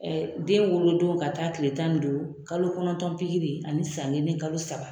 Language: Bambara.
Ɛɛ den wolodon ka taa tile tan ni duuru kalo kɔnɔntɔn pikiri ani san kelen ni kalo saba